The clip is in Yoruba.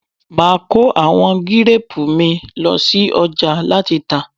Máa kọ àwọn gírápù mi ló sí ọjà láti tà..